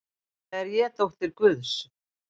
Eiginlega er ég dóttir guðs.